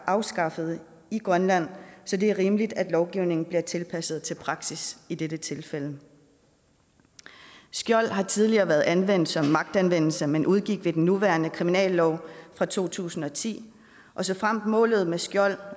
afskaffet i grønland så det er rimeligt at lovgivningen bliver tilpasset til praksis i dette tilfælde skjold har tidligere været anvendt som magtanvendelse men udgik med den nuværende kriminallov fra to tusind og ti og såfremt målet med skjold